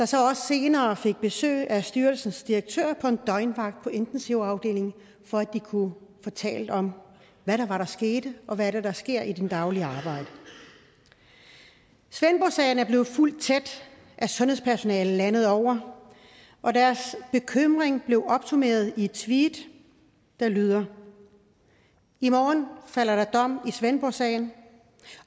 så også senere besøg af styrelsens direktør på en døgnvagt på intensivafdelingen for at de kunne få talt om hvad det var der skete og hvad det er der sker i det daglige arbejde svendborgsagen er blevet fulgt tæt af sundhedspersonalet landet over og deres bekymring blev opsummeret i et tweet der lyder i morgen falder der dom i svendborgsagen